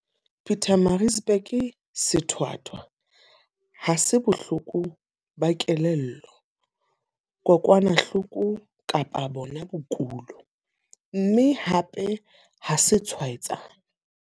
Pietermaritzburg, sethwathwa ha se bohloko ba kelello, kokwanahloko kapa bona bokulo, mme hape ha se tshwaetsane.